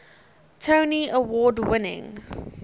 tony award winning